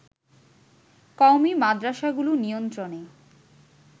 কওমী মাদ্রাসাগুলো নিয়ন্ত্রণে